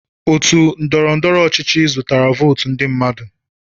Otu ndọrọ ndọrọ ọchịchị zụtara votu ndị mmadụ.